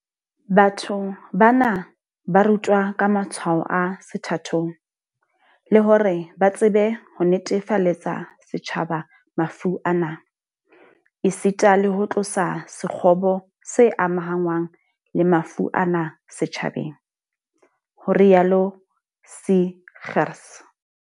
Batho bana ba rutwa ka matshwao a sethathong, le hore ba tsebe ho netefaletsa setjhaba mafu ana, esita le ho tlosa sekgobo se amahanngwang le mafu ana setjhabeng, ho rialo Seegers.